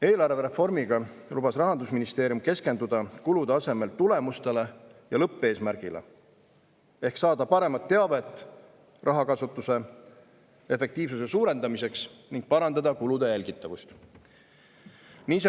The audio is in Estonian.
Eelarvereformiga lubas Rahandusministeerium keskenduda kulude asemel tulemustele ja lõppeesmärgile ehk saada paremat teavet rahakasutuse efektiivsuse suurendamiseks ning parandada kulude jälgitavust.